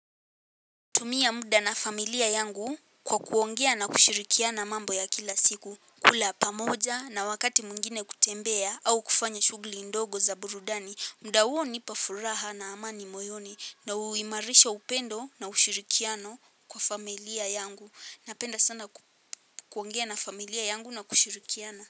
Tumia muda na familia yangu kwa kuongea na kushirikiana mambo ya kila siku. Kula pamoja na wakati mwingine kutembea au kufanya shughuli ndogo za burudani. Muda huo hunipa furaha na amani moyoni. Na huimarisha upendo na ushirikiano kwa familia yangu. Napenda sana ku kuongea na familia yangu na kushirikiana.